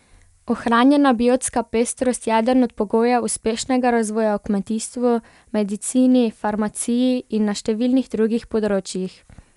Ohranjena biotska pestrost je eden od pogojev uspešnega razvoja v kmetijstvu, medicini, farmaciji in na številnih drugih področjih.